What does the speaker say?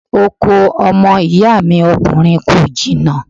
Oko ọmọ ìyá mi ọkùnrin kò jìnnà.